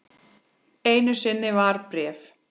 Einu sinni var bréf.